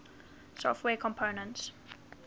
software components